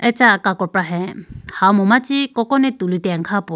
acha kakopra hai hamu machi kokone tuli tene kha poor.